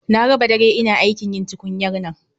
Na raba dare ina aikin yin tukunyar nan